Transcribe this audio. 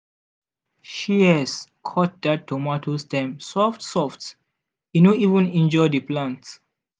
shears cut that tomato stem soft-soft e no even injure the plant.